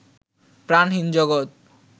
প্রাণহীন জগত